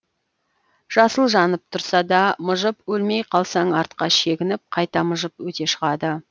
жасыл жанып тұрса да мыжып өлмей қалсаң артқа шегініп қайта мыжып өте шығады